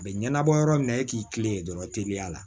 A bɛ ɲɛnabɔ yɔrɔ min na e k'i tilen dɔrɔn teliya la